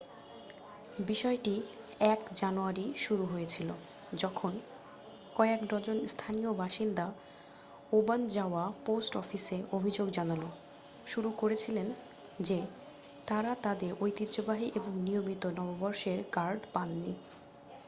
বিষয়টি 1 জানুয়ারি শুরু হয়েছিল যখন কয়েক ডজন স্থানীয় বাসিন্দা ওবানজাওয়া পোস্ট অফিসে অভিযোগ জানানো শুরু করেছিলেন যে তাঁরা তাঁদের ঐতিহ্যবাহী এবং নিয়মিত নববর্ষের কার্ড পাননি